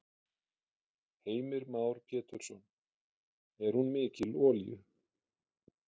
Heimir Már Pétursson: Er hún mikil olíu?